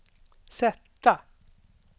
sätta